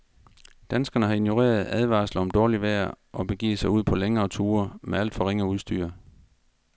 Danskerne har ignoreret advarsler om dårligt vejr og begivet sig ud på længere ture med alt for ringe udstyr.